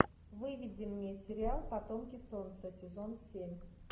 выведи мне сериал потомки солнца сезон семь